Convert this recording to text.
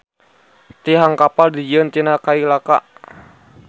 Tihang kapal dijieun tina kai laka.